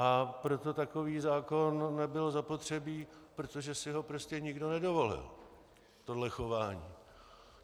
A proto takový zákon nebyl zapotřebí, protože si ho prostě nikdo nedovolil, tohle chování.